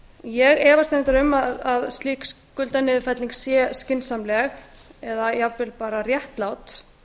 ég efast reyndar um að slík skuldaniðurfelling sé skynsamleg eða jafnvel bara réttlát